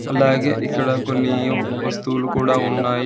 అలాగే ఇక్కడ కొన్ని యు వస్తువులు కూడా ఉన్నాయి.